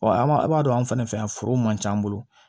an b'a a b'a dɔn anw fɛnɛ fɛ yan foro man ca an bolo